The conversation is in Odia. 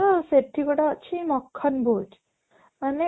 ତ ସେଠି ଗୋଟେ ଅଛି ମାନେ